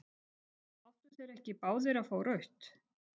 Áttu þeir ekki báðir að fá rautt?